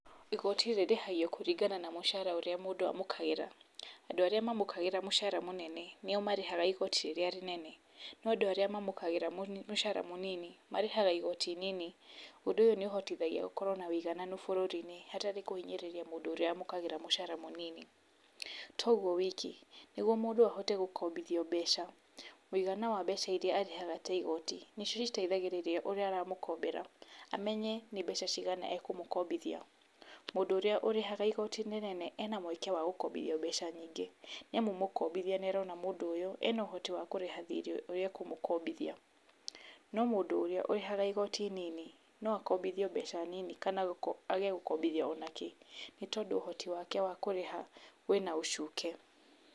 Igoti rĩrĩhagio kũringana na mũcara ũrĩa mũndũ amũkagĩra, andũ arĩa mamũkagĩra mũcara mũnene, nio marĩhaga igoti rĩrĩa rĩnene, no andũ arĩa mamũkagĩra mũcara mũnini, marĩhaga igoti inini, ũndũ ũyũ nĩ ũhotithagia gũkorwo na ũigananu bũrũri-inĩ, hatarĩ kũhinyĩrĩria mũndũ ũrĩa wamũkagĩra mũcara mũnini, toguo wiki, nĩguo mũndũ ahote gũkombithio mbeca, mũigana wa mbeca iria arĩhaga ta igoti, nĩ cio citeithagĩrĩria ũrĩa aramũkombera, amenye nĩ mbeca cigana akũmũkombithia, mũndũ ũrĩa ũrĩhaga igoti inene, ena mũeke wa gũkombithio mbeca nyingĩ, nĩ amu mũkombithia nĩ arona mũndũ ũyũ ena ũhoti wa kũrĩha thirĩ ũrĩa akũmũkombithia, no mũndũ ũrĩa ũrĩhaga igoti inini, no akombithio mbeca nini kana age gũkombithio o nakĩ, tondũ ũhoti wake wa kũrĩha wĩna ũcuke.